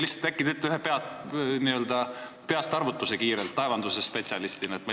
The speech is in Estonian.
Äkki te teete laevandusspetsialistina kiirelt ühe peastarvutuse.